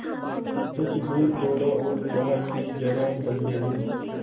कुछ दूर दौड़ा और चाहा कि जरा दम ले लूँ